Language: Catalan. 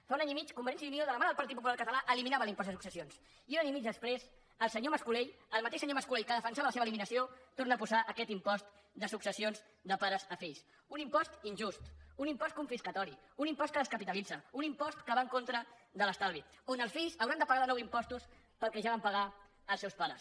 fa un any i mig convergència i unió de la mà del partit popular català eliminava l’impost de successions i un any i mig després el senyor mas colell el mateix senyor mas colell que defensava la seva eliminació torna a posar aquest impost de successions de pares a fills un impost injust un impost confiscatori un impost que descapitalitza un impost que va en contra de l’estalvi on els fills hauran de pagar de nou impostos pel que ja van pagar els seus pares